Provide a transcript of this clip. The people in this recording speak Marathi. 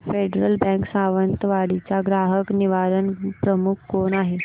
फेडरल बँक सावंतवाडी चा ग्राहक निवारण प्रमुख कोण आहे